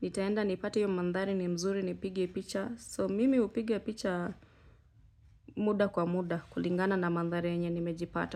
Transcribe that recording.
nitaenda nipate hio mandhari ni mzuri nipige picha so mimi hupiga picha muda kwa muda kulingana na mandhari yenye nimejipata.